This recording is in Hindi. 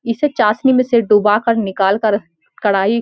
इसे चाशनी में से डुबाकर निकाल कर कढ़ाई --